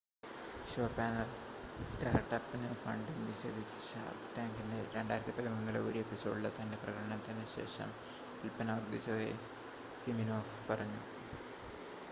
show panel സ്റ്റാർട്ട് അപ്പിന് funding നിഷേധിച്ച ഷാർക്ക് ടാങ്കിൻ്റെ 2013-ലെ ഒരു എപ്പിസോഡിലെ തൻ്റെ പ്രകടനത്തിന് ശേഷം വിൽപ്പന വർധിച്ചതായി സിമിനോഫ് പറഞ്ഞു